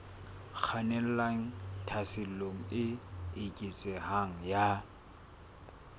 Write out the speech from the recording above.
kgannelang tlhaselong e eketsehang ya